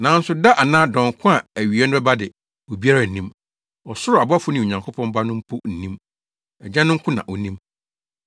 “Nanso da anaa dɔn ko a awiei no bɛba de, obiara nnim. Ɔsoro abɔfo ne Onyankopɔn Ba no mpo nnim. Agya no nko na onim.